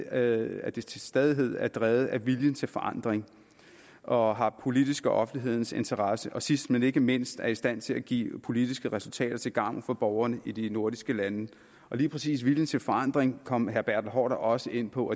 at det til stadighed er drevet af viljen til forandring og har politisk og offentlig interesse og sidst men ikke mindst er i stand til at give politiske resultater til gavn for borgerne i de nordiske lande og lige præcis viljen til forandring kom herre bertel haarder også ind på